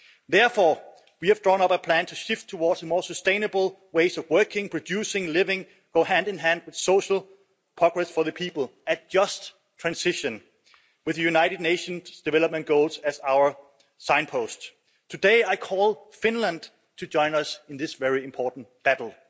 Therefore we have drawn up a plan to shift towards more sustainable ways of working, producing, living which go hand in hand with social progress for the people a just transition with the United Nations Development Goals as our signpost. Today I call on Finland to join us in this very important battle.